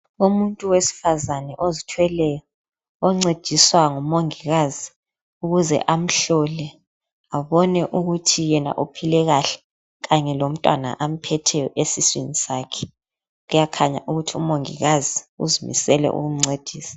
Umuntu wesifazane ozithweleyo oncediswa ngumongikazi ukuze amhlole abone ukuthi yena uphile kahle kanye lomntwana amphetheyo esiswini sakhe kuyakhanya ukuthi umongikazi uzimisele ukumncedisa.